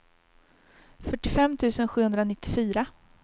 fyrtiofem tusen sjuhundranittiofyra